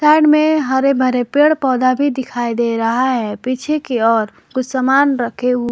side में हरे भरे पेड़ पौधा भी दिखाई दे रहा है पीछे की ओर कुछ सामान रखे हुए--